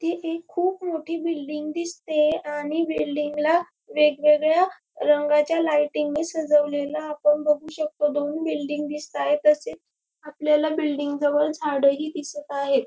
ती एक खूप मोठी बिल्डिंग दिसते आणि बिल्डिंग ला वेगवेगळ्या रंगाच्या लायटिंग नी सजवलेल आपण बघू शकतो दोन बिल्डिंग दिसताएत तसेच आपल्याला बिल्डिंग जवळ झाड ही दिसत आहेत.